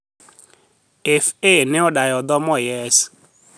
Fa ne odayo dhog Moyes